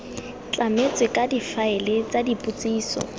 tlametswe ka difaele tsa dipotsiso